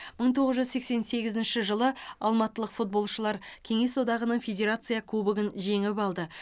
мың тоғыз жүз сексен сегізінші жылы алматылық футболшылар кеңес одағының федерация кубогын жеңіп алды